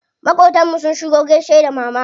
Maƙotan mu sun shigo gaishe da mama.